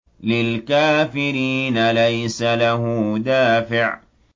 لِّلْكَافِرِينَ لَيْسَ لَهُ دَافِعٌ